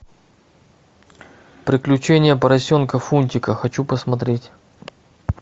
приключения поросенка фунтика хочу посмотреть